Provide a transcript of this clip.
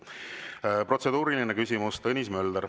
Kolmas protseduuriline küsimus, Tõnis Mölder.